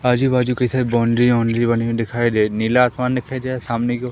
आजू बाजू कई सारे बाउंड्री वाउंड्री बनी हुई दिखाई दे नीला आसमान दिखाइ दे सामने की ओर--